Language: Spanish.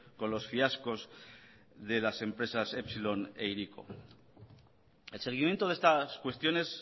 con los fiascos de las empresas epsilon e hiriko el seguimiento de estas cuestiones